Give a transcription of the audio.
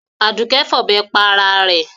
Àdùké fọ̀bẹ pa ara rẹ̀.